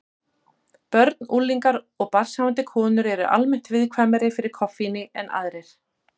Börn, unglingar og barnshafandi konur eru almennt viðkvæmari fyrir koffíni en aðrir.